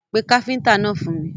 Pé káfíntà náà fún mi.